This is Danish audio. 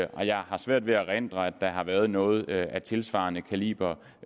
og jeg har svært ved at erindre at der har været noget af tilsvarende kaliber